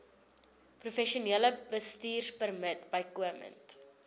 professionele bestuurpermit bykomend